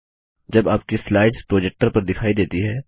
जब आपकी slides projector पर दिखाई देती हैं